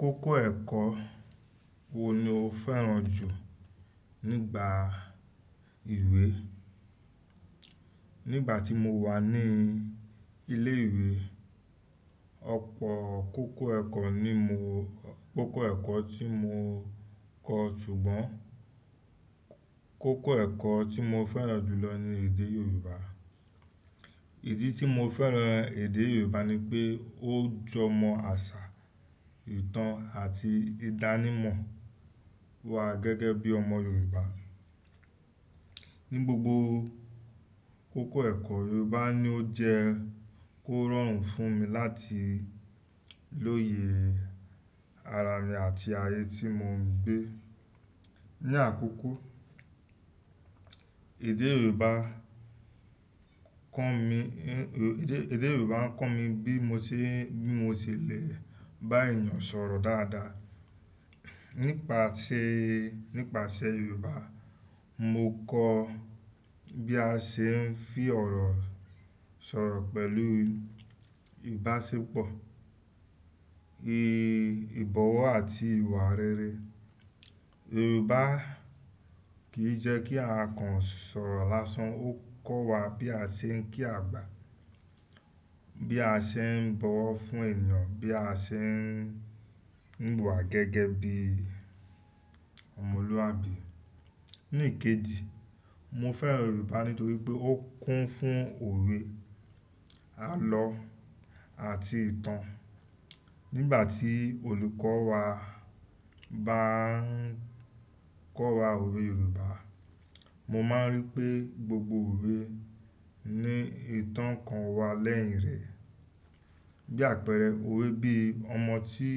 Kókó ẹ̀kọ́ wo ni o fẹ́ràn jù nígbà ìwé? Nígbà tí mo wà ní ilé ìwé, ọ̀pọ̀ kókó ẹ̀kọ́ ní mo, kókó ẹ̀kọ́ tí mo kọ ṣùgbọ́n kókó ẹ̀kọ́ tí mo fẹ́ràn jù lọ ni èdè Yorùbá. Ìdí tí mo fẹ́ràn èdè Yorùbá ni pé ó jọmọ àṣà, ìtàn àti ìdánimọ̀ wa gẹ́gẹ́ bí ọmọ Yorùbá. Ni gbogbo kókó ẹ̀kọ́ Yorùbá ni ó jẹ́ kó rọrùn fún mi láti lóye ara mi àti ayé tí mo ń gbé. Ni àkókò, èdè Yorùbá kọ mi, èdè, èdè Yorùbá ń kọ mi bí mo ṣe, bí mo ṣe le bá ènìyàn sọ̀rọ̀ dáadáa. Nípasẹ̀, nípasẹ̀ Yorùbá, mo kọ bí a ṣe ń fi ọ̀rọ̀ sọ̀rọ̀ pẹ̀lú ìbáṣepọ̀, ì, ìbọ̀wọ̀ àti ìwà rere. Yorùbá kì í jẹ́ kí ara kan sọ̀rọ̀ lásán, ó kọ́ wa bí a ṣe ń kí àgbà, bí a ṣe ń bọ̀wọ̀ fún ènìyàn, bí a ṣe ń, ń wùwà gẹ́gẹ́ bí ọmọlúwàbí. Níkéji, mo fẹ́ràn Yorùbá nítorí pé ó kún fún òwe, àlọ́ àti ìtàn. Nígbà tí olùkọ́ wa bá ń kọ́ wa òwe Yorùbá, mo máa rí pé gbogbo òwe ní ìtàn kan wà lẹ́yìn rẹ̀. Bí àpẹẹrẹ òwe bí Ọmọ tí,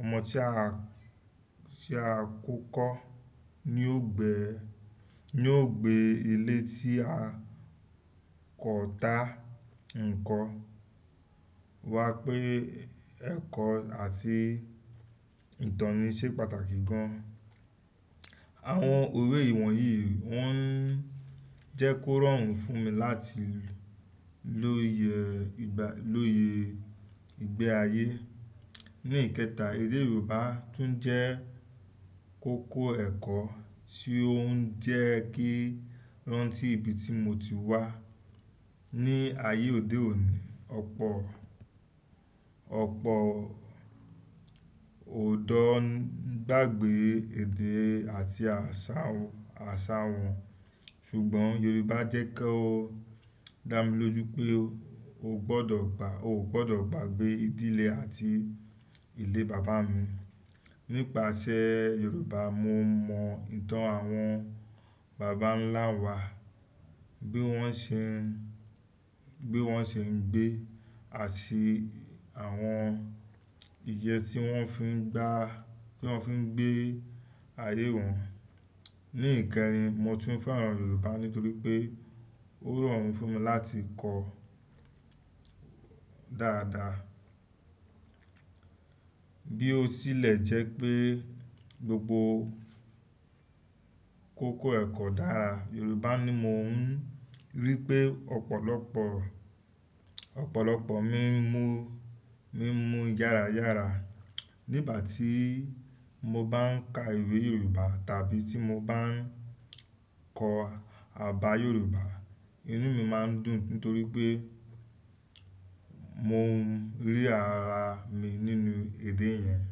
Ọmọ tí a, tí a kò kọ́ ni yóò gbé, ni yóò gbé ilé tí a kò dá ń kọ́, wá pé ẹ̀kọ́ àti ìtàn ni ṣe pàtàkì gan-an. Àwọn òwe ìwọ̀n yìí wọ́n jẹ́ kó rọrùn fún mi láti lóye ìgbà, lóye ìgbé ayé. Ní ìkẹta, èdè Yorùbá tún jẹ́ kókó ẹ̀kọ́ tí ó ń jẹ́ kí ó rántí ibi tí mo ti wá. Ni ayé òde òní, ọ̀pọ̀, ọ̀pọ̀ òdọ́ ń gbàgbé èdè àti àṣà, àṣà wọn ṣùgbọ́n Yorùbá jẹ́ kó dá mi lójú pé o ò gbọdọ̀ gbà, o ò gbọdọ̀ gbàgbé ìdílé àti ilé bàbá mi. Nípasẹ̀ Yorùbá, mo mọ ìtàn àwọn bàbá ńlá wa bí wọ́n ṣe ń, bí wọ́n ṣe ń gbé àti àwọn ìyẹ́ tí wọ́n fi ń gbá, tí wọ́n fi ń gbé ayé wọn. Ní ìkẹrin, mo tún fẹ́ràn Yorùbá nítorí pé ó rọrùn fún mi láti kọ dáadáa. Bí ó tilẹ̀ jẹ́ pé gbogbo kókó ẹ̀kọ́ dára, Yorùbá ni mò ń rí pé ọ̀pọ̀lọpọ̀, ọ̀pọ̀lọpọ̀ mi ń mu, mi ń mu yára yára. Nígbà tí mo bá ń ka ìwé Yorùbá tàbí tí mo bá ń kọ àbá Yorùbá, inú mi máa ń dùn nítorí pé mo ń rí ara mi nínú èdè yẹn.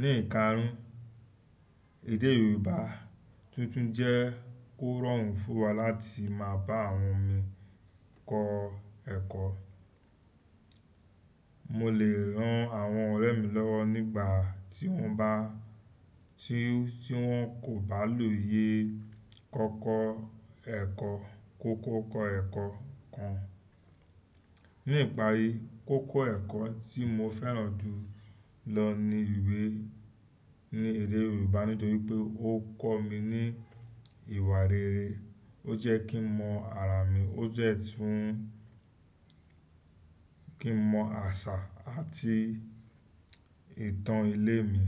Ní ìkarun, èdè Yorùbá tuntun jẹ́ kó rọrùn fún wa láti máa bá àwọn mi kọ ẹ̀kọ́. Mo lè ran àwọn ọ̀rẹ́ mi lọ́wọ́ nígbà tí wọ́n bá, tí, tí wọ́n kò bá lóye kọ́kọ́ ẹ̀kọ́, kókó kọ̀ọ̀kọ̀ ẹ̀kọ́ kan. Ní ìparí, kókó ẹ̀kọ́ tí mo fẹ́ràn jù lọ ni ìwé ní èdè Yorùbá nítorí pé ó kọ́ mi ní ìwà rere, ó jẹ́ kí mọ ara mi, ó jẹ́ fún kí mọ àṣà àti ìtàn ilé mi.